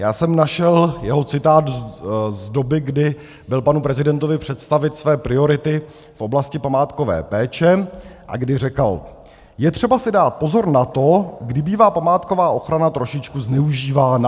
Já jsem našel jeho citát z doby, kdy byl panu prezidentovi představit své priority v oblasti památkové péče a kdy říkal: Je třeba si dát pozor na to, kdy bývá památková ochrana trošičku zneužívána.